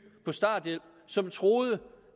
på starthjælp som troede